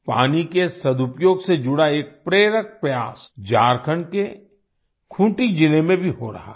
पानी के सदुपयोग से जुड़ा एक प्रेरक प्रयास झारखंड के खूंटी जिले में भी हो रहा है